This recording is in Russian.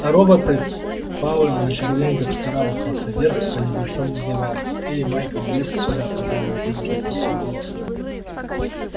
а роботы пауэлл на четвереньках вскарабкался вверх по небольшому завалу эй майкл лезь сюда позвал он тревожным хриплым голосом